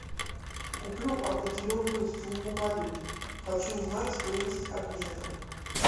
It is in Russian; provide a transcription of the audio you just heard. куплю определенную сумму валют хочу узнать стоимость обмена